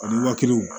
Ani waa kelen